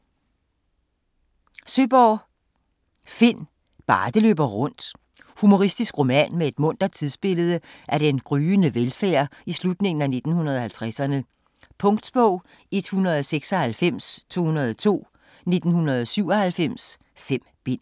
Søeborg, Finn: Bare det løber rundt Humoristisk roman med et muntert tidsbillede af den gryende velfærd i slutningen af 1950'erne. Punktbog 196202 1997. 5 bind.